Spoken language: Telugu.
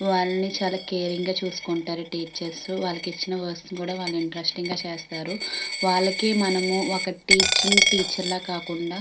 వాళ్ళని చాలా కేరింగ్ గా చూసుకుంటారు టీచర్స్ వాళ్ళకి ఇచ్చిన వర్క్స్ కూడా వాళ్ళు ఇంటరెస్టింగ్ గా చేస్తారు వాళ్ళకి మనం టీచింగ్ టీచర్ లా కాకుండా --